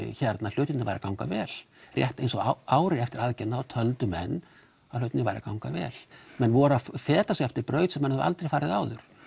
hlutirnir væru að ganga vel rétt eins og ári eftir aðgerðina að þá töldu menn að hlutirnir væru að ganga vel menn voru að feta sig eftir braut sem menn höfðu aldre farið áður